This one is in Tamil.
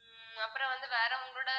உம் அப்புறம் வந்து வேற உங்களோட